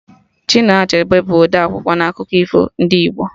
Chinua Achebe bụ ọdee akwụkwọ na akọ akụkọ ifo ndị Igbo